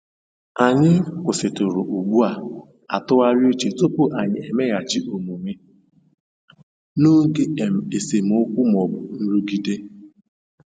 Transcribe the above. Anyị kwụsịtụrụ ugbu a tụgharịa uche tupu anyị emeghachi omume n'oge um esemokwu ma ọ bụ nrụgide.